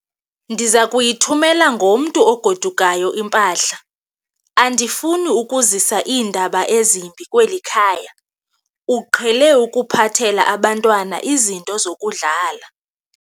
Ndiza kuyithumela ngomntu ogodukayo impahla. andifuni ukuzisa iindaba ezimbi kweli khaya, uqhele ukuphathela abantwana izinto zokudlala